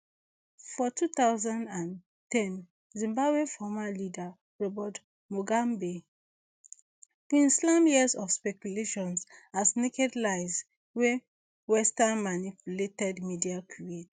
for two thousand and ten zimbabwe former leader robert muganbe bin slam years of speculation as naked lies wey western manipulated media create